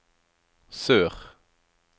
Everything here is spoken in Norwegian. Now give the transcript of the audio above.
sør